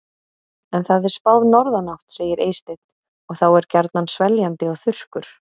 En það er spáð norðanátt, segir Eysteinn, og þá er gjarnan sveljandi og þurrkur.